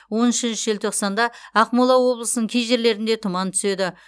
он үшінші желтоқсанда ақмола облысының кей жерлерінде тұман түседі